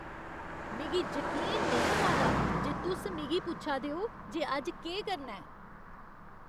मिगी जकीन नेईं होआ दा जे तुस मिगी पुच्छा दे ओ जे अज्ज केह् करना ऐ।